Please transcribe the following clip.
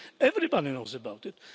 Everybody knows about it.